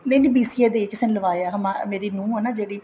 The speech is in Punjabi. ਨਹੀਂ BCA ਦੀ ਨੀ ਕਿਸੇ ਨੇ ਲਵਾਇਆ ਮੇਰੀ ਨੂੰਹ ਆ ਨਾ ਜਿਹੜੀ